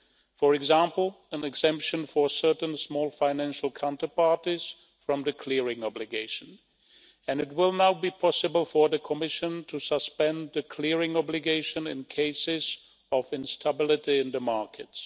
For example, an exemption for certain small financial counterparties from the clearing obligation, and it will now be possible for the Commission to suspend the clearing obligation in cases of instability in the markets.